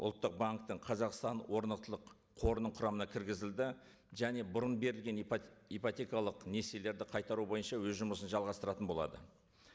ұлттық банктің қазақстан орнықтылық қорының құрамына кіргізілді және бұрын берілген ипотекалық несиелерді қайтару бойынша өз жұмысын жалғастыратын болады